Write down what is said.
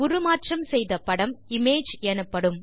உருமாற்றம் செய்த படம் இமேஜ் எனப்படும்